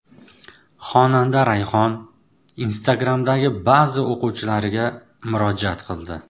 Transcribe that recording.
Xonanda Rayhon Instagram’dagi ba’zi o‘quvchilariga murojaat qildi .